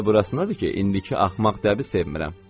Məsələ burasındadır ki, indiki axmaq dəbi sevmirəm.